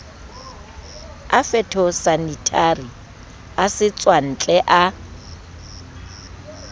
a phytosanitary a setswantle a